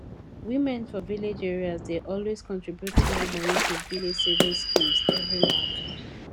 women for village areas dey always contribute small money to village savings schemes every month